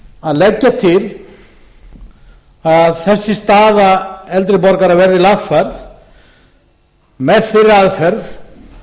að leggja til að þessi staða eldri borgara verði lagfærð með þeirri aðferð